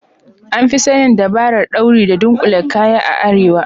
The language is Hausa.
An Fi sanin dabarar dauri da dunkule kaya a arewa.